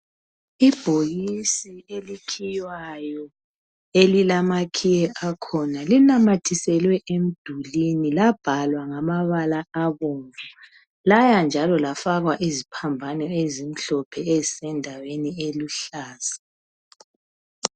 Ibhokisi elikhiywayo elilamakhiye akhona, linanyathiselwe emdulwini labhalwa ngabalala abomvu. Laya njalo lafakwa iziphambano ezimhlophe ezisendaweni eluhlaza.